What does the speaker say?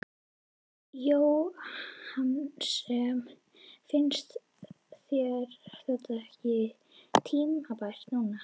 Jóhannes: Finnst þér þetta ekki tímabært núna?